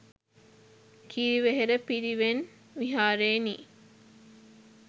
කිරිවෙහෙර පිරිවෙන් විහාරයෙනි.